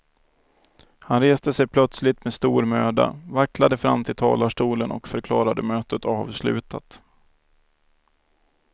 Han reste sig plötsligt med stor möda, vacklade fram till talarstolen och förklarade mötet avslutat.